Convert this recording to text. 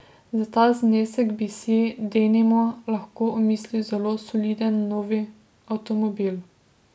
Za ta znesek bi si, denimo, lahko omislil zelo soliden novi avtomobil.